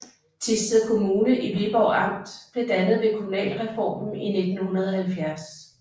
Thisted Kommune i Viborg Amt blev dannet ved kommunalreformen i 1970